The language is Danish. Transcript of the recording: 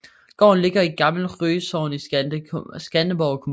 Gården ligger i Gammel Rye Sogn i Skanderborg Kommune